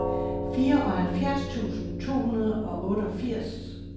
fireoghalvfjerds tusind to hundrede og otteogfirs